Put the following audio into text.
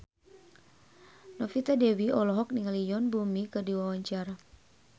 Novita Dewi olohok ningali Yoon Bomi keur diwawancara